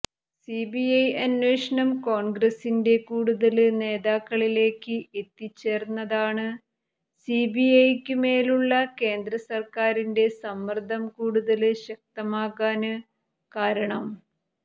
CBI അനേഷണം കോണ്ഗ്രസിന്റെ കൂടുതല് നേതാക്കളിലേക്ക് എത്തിച്ചേര്ന്നതാണ് സിബിഐക്കു മേലുള്ള കേന്ദ്രസര്ക്കാരിന്റെ സമ്മര്ദ്ദം കൂടുതല് ശക്തമാകാന് കാരണം